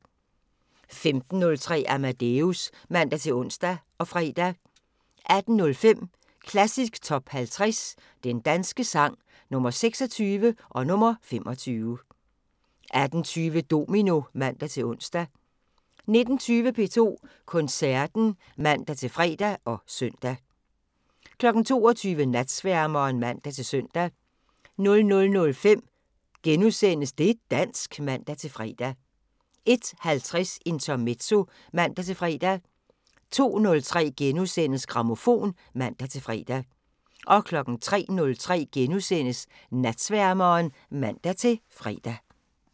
15:03: Amadeus (man-ons og fre) 18:05: Klassisk Top 50 Den danske sang – Nr. 26 og nr. 25 18:20: Domino (man-ons) 19:20: P2 Koncerten (man-fre og søn) 22:00: Natsværmeren (man-søn) 00:05: Det' dansk *(man-fre) 01:50: Intermezzo (man-fre) 02:03: Grammofon *(man-fre) 03:03: Natsværmeren *(man-fre)